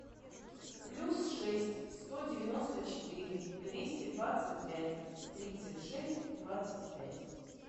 плюс шесть сто девяносто четыре двести двадцать пять тридцать шесть двадцать пять